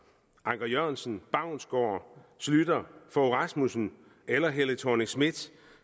anker jørgensen baunsgaard schlüter fogh rasmussen eller helle thorning schmidt